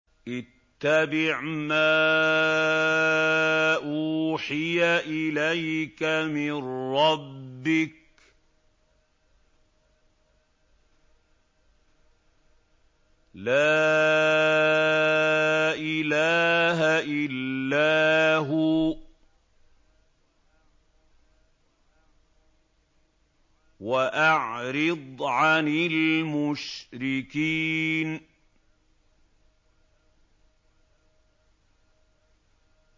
اتَّبِعْ مَا أُوحِيَ إِلَيْكَ مِن رَّبِّكَ ۖ لَا إِلَٰهَ إِلَّا هُوَ ۖ وَأَعْرِضْ عَنِ الْمُشْرِكِينَ